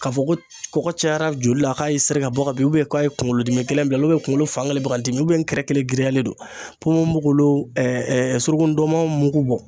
K'a fɔ ko kɔgɔ cayara joli la k'a y'i seri ka bɔ ka bi ubiyɛn k'a ye kungolo dimi gɛlɛn bila ubiyɛn kungolo fan kelen be ka n dimi ukiyɛn n kɛrɛ kelen giriyalen don ponponpogolon ɛ ɛ suruku ndɔnmɔn mugu bɔ